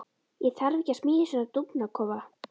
Ég þarf ekkert að smíða svona dúfnakofa.